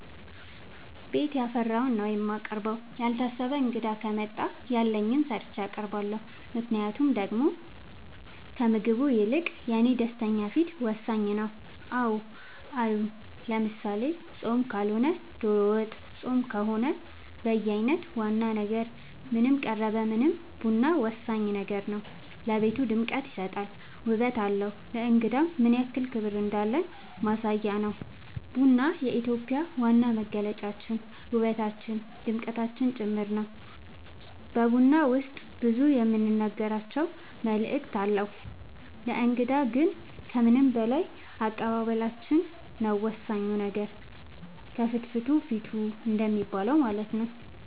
ቤት ያፈራውን ነው የማቀርበው ያልታሰበ እንግዳ ከመጣ ያለኝን ሰርቼ አቀርባለሁ ምክንያቱም ደሞ ከምግቡ ይልቅ የኔ ደስተኛ ፊት ወሳኝ ነው አዎ አሉ ለምሳሌ ፆም ካልሆነ ዶሮ ወጥ ፆም ከሆነ በየአይነት ዋና ነገር ምንም ቀረበ ምንም ቡና ወሳኝ ነገር ነው ለቤቱ ድምቀት ይሰጣል ውበት አለው ለእንግዳም ምንያክል ክብር እንዳለን ማሳያ ነው ቡና የኢትዮጵያ ዋና መገለጫችን ውበታችን ድምቀታችን ጭምር ነው በቡና ውስጥ ብዙ የምንናገራቸው መልዕክት አለው ለእንግዳ ግን ከምንም በላይ አቀባበላችን ነው ወሳኙ ነገር ከፍትፍቱ ፊቱ እንደሚባለው ማለት ነው